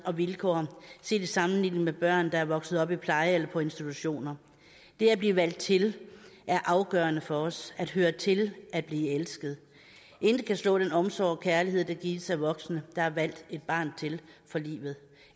og vilkår set i sammenligning med børn der er vokset op i pleje eller på institutioner det at blive valgt til er afgørende for os at høre til at blive elsket intet kan slå den omsorg og kærlighed der gives af voksne der har valgt et barn til for livet